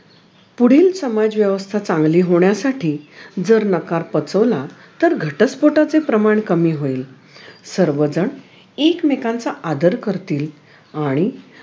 पुढील समाज व्यवस्था चांगली होण्यासाठी जर नकार पचवला तर घटस्फोटाचे प्रमाण कमी होईल सर्वजण एकमेकांचा आदर कारतील आणि